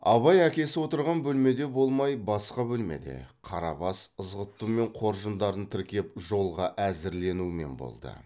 абай әкесі отырған бөлмеде болмай басқа бөлмеде қарабас ызғұттымен қоржындарын тіркеп жолға әзірленумен болды